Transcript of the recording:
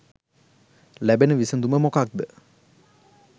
ලැබෙන විසදුම මොකද්ද?